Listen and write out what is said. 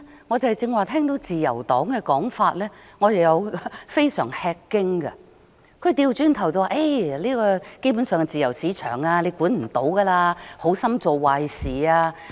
我對自由黨議員剛才的說法感到非常吃驚，他們反而認為，基本上，這是自由市場，無法規管，否則只會好心做壞事。